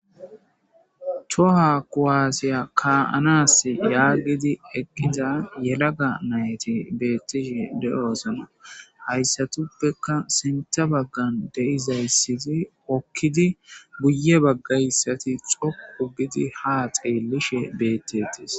Tohoa kuwaasiya ka'anas yaagidi eqqiza yelagga nayti beettishshi de'osona hayssatuppekka sinththa baggan deizayssizi hokkidi guye baggayssati dhoqu gidi ha xeelishe beettees